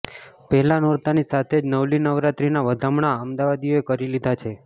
પહેલા નોરતાની સાથે જ નવલી નવરાત્રીના વધામણાં અમદાવાદીઓએ કરી લીધા છે